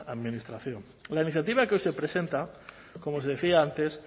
administración la iniciativa que hoy se presenta como os decía antes